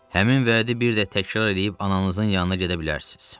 Həmin vədi bir də təkrar eləyib ananızın yanına gedə bilərsiz.